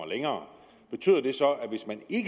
længere betyder det så